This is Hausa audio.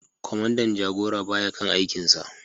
Kwamandan jagora ba ya kan aikinsa